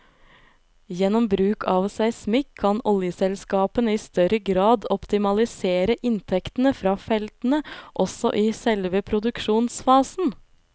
Gjennom bruk av seismikk kan oljeselskapene i større grad optimalisere inntektene fra feltene også i selve produksjonsfasen.